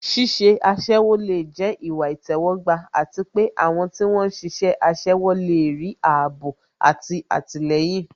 Iṣẹ́ aṣẹ́wó lè jẹ́ ìwà ìtẹ́wọ́gbà àti pé àwọn tí wón ń ṣiṣẹ́ aṣẹ́wó lè rí ààbò àti àtìlẹyìn